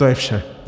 To je vše.